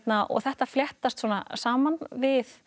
þetta fléttast svona saman við